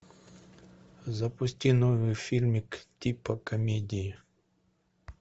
запусти новый фильмик типа комедии